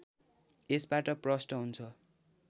यसबाट प्रष्ट हुन्छ